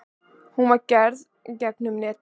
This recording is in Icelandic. Hún var gerð gegnum netið.